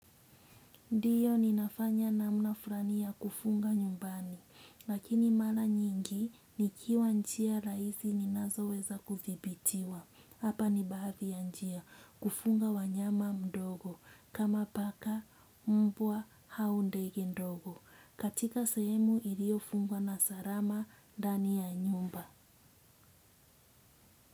Ndio ninafanya namna fulani ya kufunga nyumbani, lakini mara nyingi nikiwa njia rahisi ninazoweza kudhibitiwa. Hapa ni baadhi ya njia: kufuga wanyama mdogo, kama paka, mbwa au ndege ndogo. Katika sehemu ilio fungwa na salama ndani ya nyumba.